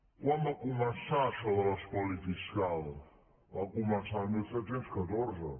quan va començar això de l’espoli fiscal va començar el disset deu quatre